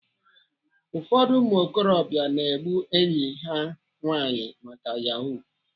Ụfọdụ ụmụokorobịa na-egbu enyi ha nwaanyị maka Yahoo.